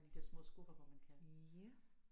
Alle de der små skuffer hvor man kan